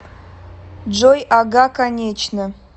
джой ага конечно